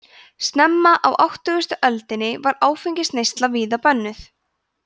snemma á tuttugustu öldinni var áfengisneysla víða bönnuð